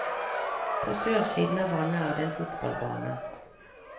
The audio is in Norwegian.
På sørsiden av vannet er det en fotballbane.